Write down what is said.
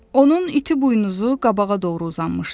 Onun iti buynuzu qabağa doğru uzanmışdı.